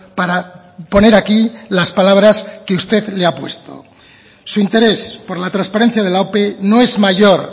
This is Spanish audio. para poner aquí las palabras que usted le ha puesto su interés por la transparencia de la ope no es mayor